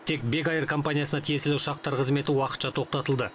тек бек эйр компаниясына тиесілі ұшақтар қызметі уақытша тоқтатылды